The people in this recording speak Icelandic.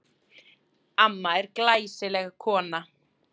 Amma er glæsileg kona.